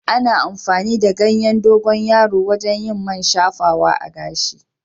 Ana amfani da ganyen dogonyaro wajen yin man shafawa a gashi.